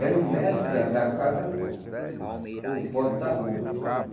Era um metro da da casa para o ponto da rua.